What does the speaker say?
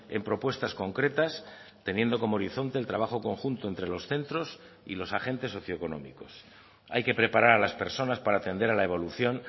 en propuestas concretas teniendo como horizonte el trabajo conjunto entre los centros y los agentes socioeconómicos hay que preparar a las personas para atender a la evolución